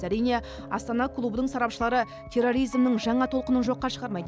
әрине астана клубының сарапшылары терроризмнің жаңа толқынын жоққа шығармайды